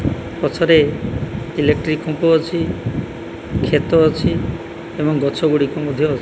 ପଛରେ ଇଲେକ୍ଟ୍ରିକ ଖୁମ୍ପ ଅଛି ଖେତ ଅଛି ଏବଂ ଗଛ ଗୁଡିକ ମଧ୍ୟ ଅ --